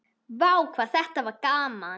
Vá hvað þetta var gaman!!